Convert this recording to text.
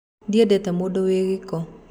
Ndĩendete mũndũ wĩ gĩko